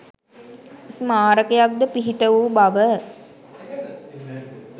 ස්මාරකයක් ද පිහිට වූ බව